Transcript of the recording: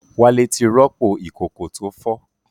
Wálé ti rọ́pò ìkòkò tó fọ́